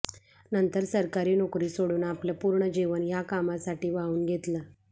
नंतर सरकारी नोकरी सोडून आपलं पूर्ण जीवन ह्या कामासाठी वाहून घेतलं